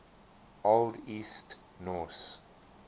old east norse